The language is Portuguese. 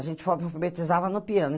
A gente falava que alfabetizava no piano.